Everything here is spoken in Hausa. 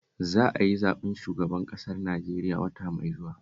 Za a yi zaɓen shugaban ƙasar Najeriya wata mai zuwa